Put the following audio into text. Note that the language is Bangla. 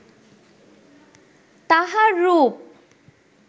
তাঁহার রূপ